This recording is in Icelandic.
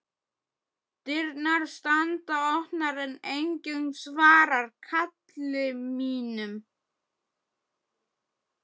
Dyrnar standa opnar en enginn svarar kalli mínu.